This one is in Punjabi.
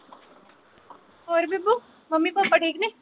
ਹੋਰ ਬੇਬੋ ਮੰਮੀ ਪਾਪਾ ਠੀਕ ਨੇ